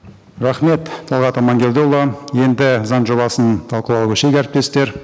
рахмет талғат амангелдіұлы енді заң жобасын талқылауға көшейік әріптестер